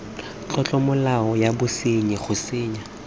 tlolomolao ya bosenyi go senya